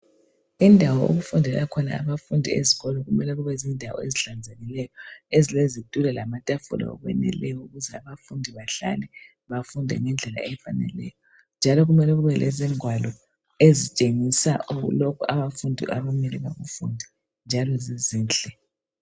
Indawo okufundela khona abafundi ezikolo kumele kubezindawo ezihlanzekileyo ezilezitulo lamatafula okweneleyo ukuze abafundi bahlale bafunde ngendlela efaneleyo. Njalo kumele kubelezingwalo ezitshengisa lokho abafundi okumele bakufunde njalo zizinhle.